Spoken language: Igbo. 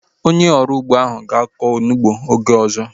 Onye ọrụ ugbo ahu ga-aku onugbu oge ọzọ